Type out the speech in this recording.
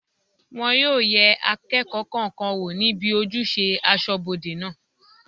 Wọn yóò yẹ akẹ́kọ̀ọ́ kọ̀ọ̀kan wò níbi ojúṣe asọ́bodè náà